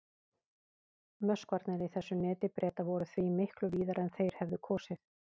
Möskvarnir í þessu neti Breta voru því miklu víðari en þeir hefðu kosið.